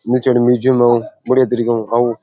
मिर्चो लो मिर्चो बढ़िया तरीके ऊ खाऊं।